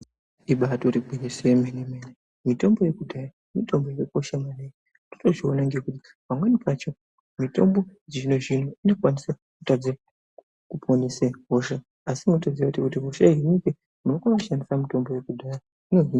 Ibarigwinyiso remene mene mitombo yekudhaya pamweni pacho mitombo yechizvinozvino inokwanisa kutadza kuponesa hosha asi kuti inokwanisa kushandisa yekudhaya .